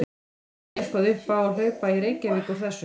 En er þá eitthvað upp á að hlaupa í Reykjavík úr þessu?